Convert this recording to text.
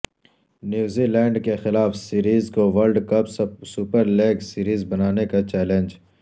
New Zealand کے خلاف series کو World Cup Super League series بنانے کا چیلنج